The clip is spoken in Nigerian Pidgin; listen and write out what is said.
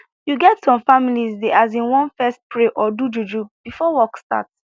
you get some families dey asin want fess pray or do juju before work start